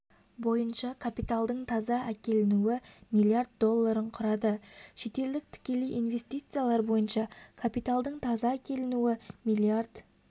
бойынша капиталдың таза әкелінуі млрд долларын құрады шетелдік тікелей инвестициялар бойынша капиталдың таза әкелінуі млрд